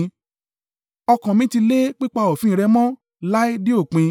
Ọkàn mi ti lé pípa òfin rẹ mọ́ láé dé òpin.